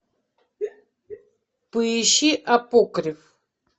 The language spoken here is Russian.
поищи апокриф